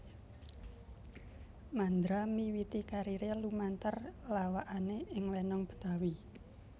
Mandra miwiti kariré lumantar lawakané ing lenong Betawi